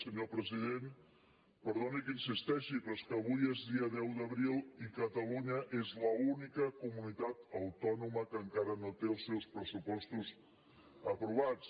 senyor president perdoni que hi insisteixi però és que avui és dia deu d’abril i catalunya és l’única comunitat autònoma que encara no té els seus pressupostos aprovats